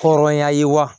Hɔrɔnya ye wa